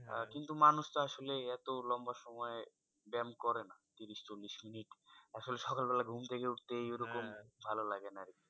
কিন্তু মানুষ তো আসলে এতো লম্বা সময় ব্যাম করে না। ত্রিশ চল্লিশ minute আসলে সকালবেলা ঘুম থেকে উঠতে ওইরকম ভালো লাগেনা আরকি।